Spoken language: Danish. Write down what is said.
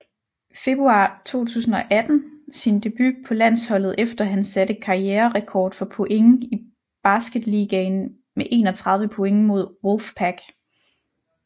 Februar 2018 sin debut på landsholdet efter han satte karriererekord for point i Basketligaen med 31 point mod Wolfpack